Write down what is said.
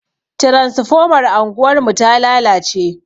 Transfomar anguwarmu ta lalace.